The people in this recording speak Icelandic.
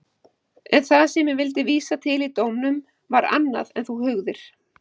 En það sem ég vildi vísa til í dómnum var annað en þú hugðir.